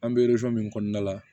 An bɛ min kɔnɔna la